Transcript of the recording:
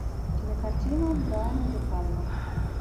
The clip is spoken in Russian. кинокартина брайана де пальма